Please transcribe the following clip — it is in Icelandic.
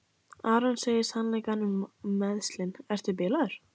Aron segir sannleikann um meiðslin: Ertu bilaður?